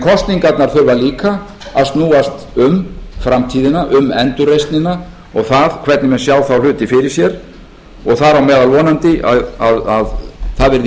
kosningarnar þurfa líka að snúast um framtíðina um endurreisnina og það hvernig menn sjá þá hluti fyrir sér og þar á meðal vonandi að það verði